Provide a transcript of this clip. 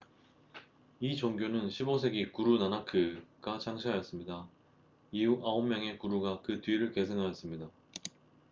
이 종교는 15세기 구루 나나크1469–1539가 창시하였습니다. 이후 9명의 구루가 그 뒤를 계승하였습니다